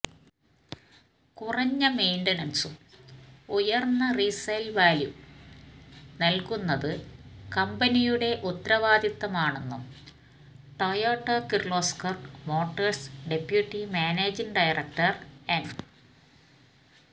കുറഞ്ഞ മെയ്ന്റനന്സും ഉയര്ന്ന റീസെയില് വാല്യുവും നല്കുന്നത് കമ്പനിയുടെ ഉത്തവാദിത്വമാണെന്നും Toyota Kirloskar Motors deputy managing director എന്